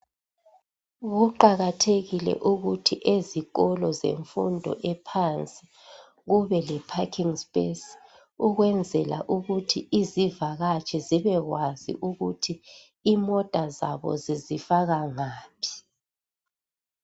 Kuqakathekile ukuthi ezikolo zemfundo ephansi kube le parking space ukwenzela ukuthi izivakatshi zibe kwazi ukuthi imota zabo zizifaka ngaphi.